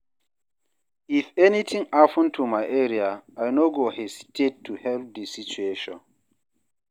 If anything happen for my area, I no go hesitate to help di situation.